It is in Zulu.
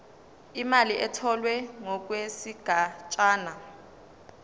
imali etholwe ngokwesigatshana